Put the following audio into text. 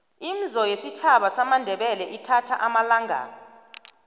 imzo yesitjhaba samandebele ithatha amalangana